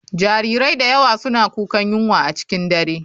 Jarirai da yawa suna kukan yunwa a cikin dare.